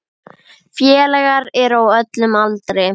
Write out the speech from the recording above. Félagar eru á öllum aldri.